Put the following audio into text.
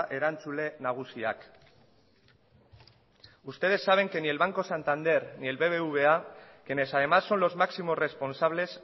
erantzule nagusiak ustedes saben que ni el banco santander ni el bbva quienes además son los máximos responsables